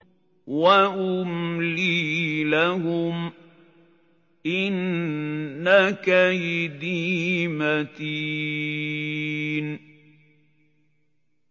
وَأُمْلِي لَهُمْ ۚ إِنَّ كَيْدِي مَتِينٌ